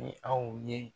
Ni aw ye